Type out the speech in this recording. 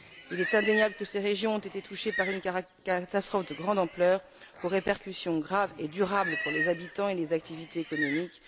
Il est indéniable que ces régions ont été touchées par une catastrophe de grande ampleur aux répercussions graves et durables pour les habitants et les activités économiques.